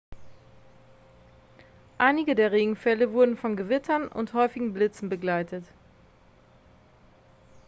einige der regenfälle wurden von gewittern und häufigen blitzen begleitet